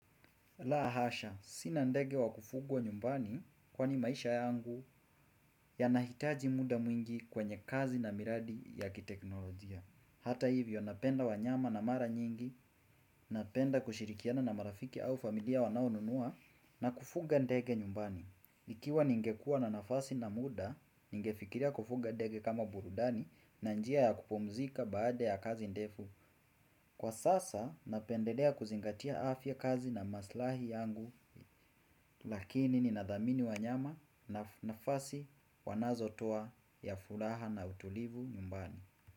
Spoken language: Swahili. Lahasha, sina ndege wa kufugwa nyumbani kwa ni maisha yangu ya nahitaji muda mwingi kwa nye kazi na miradi ya kiteknolojia. Hata hivyo, napenda wanyama na mara nyingi, napenda kushirikiana na marafiki au familia wanao nunua na kufuga ndege nyumbani. Ikiwa ningekua na nafasi na muda, ningefikiria kufuga ndege kama burudani na njia ya kupumzika baada ya kazi ndefu. Kwa sasa, napendelea kuzingatia afya kazi na maslahi yangu. Lakini ni nadhamini wa nyama nafasi wanazo toa ya fulaha na utulivu nyumbani.